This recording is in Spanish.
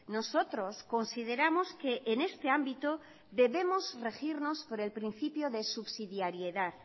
nosotros consideramos que en este ámbito debemos regirnos por el principio de subsidiariedad